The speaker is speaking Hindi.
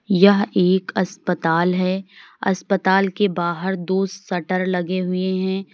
यह एक अस्पताल है अस्पताल के बाहर दो शटर लगे हुए हैं।